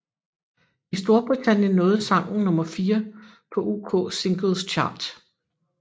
I Storbritannien nåede sangen nummer fire på UK Singles Chart